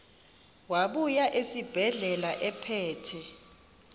wabuya esibedlela ephethe